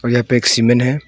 यहां पे एक सीमेंट है।